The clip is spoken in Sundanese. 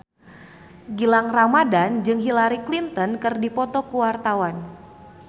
Gilang Ramadan jeung Hillary Clinton keur dipoto ku wartawan